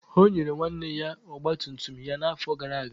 O nyere nwanne ya ọgba tum tum ya n'afọ gara aga.